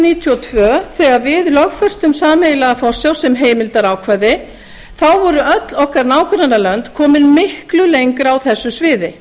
níutíu og tvö þegar við lögfestum sameiginlega forsjá sem heimildarákvæði voru öll okkar nágrannalönd komin miklu lengra á þessu sviði